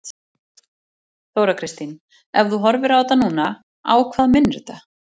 Þóra Kristín: Ef þú horfir á þetta núna, á hvað minnir þetta?